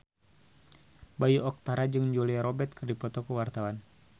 Bayu Octara jeung Julia Robert keur dipoto ku wartawan